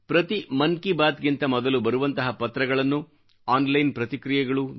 ಪ್ರತಿ ಮನ್ ಕಿ ಬಾತ್ ಗಿಂತ ಮೊದಲು ಬರುವಂತಹ ಪತ್ರಗಳನ್ನು ಆನ್ ಲೈನ್ ಪ್ರತಿಕ್ರಿಯೆಗಳು